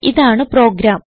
ഇതാണ് പ്രോഗ്രാം